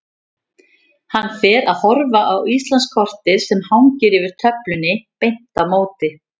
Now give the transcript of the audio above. Hann fer að horfa á Íslandskortið sem hangir yfir töflunni beint á móti.